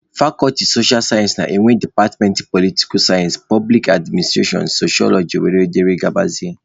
Fakọlti socha sayensị na-enwe departmentị politika sayensị, poblik adminstrashọn, soshọloji wdg.